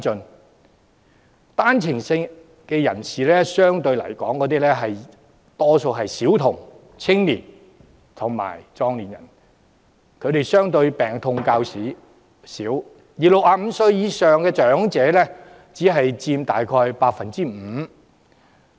相對來說，單程證人士有較高比例是小童、青年人及壯年人，他們病痛相對較少，而65歲以上長者只佔約 5%。